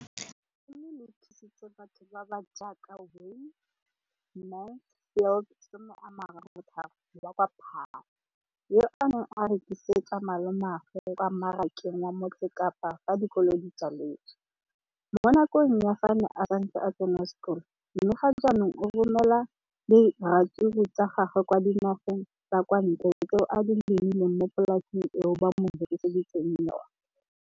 Leno le thusitse batho ba ba jaaka Wayne Mansfield, 33, wa kwa Paarl, yo a neng a rekisetsa malomagwe kwa Marakeng wa Motsekapa fa dikolo di tswaletse, mo nakong ya fa a ne a santse a tsena sekolo, mme ga jaanong o romela diratsuru tsa gagwe kwa dinageng tsa kwa ntle tseo a di lemileng mo polaseng eo ba mo hiriseditseng yona.